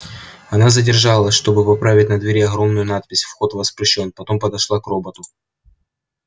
она задержалась чтобы поправить на двери огромную надпись вход воспрещён потом подошла к роботу